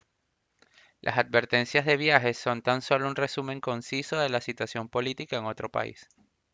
las advertencias de viaje son tan solo un resumen conciso de la situación política en otro país